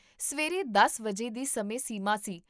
ਸਵੇਰੇ ਦਸ ਵਜੇ ਦੀ ਸਮੇਂ ਸੀਮਾ ਸੀ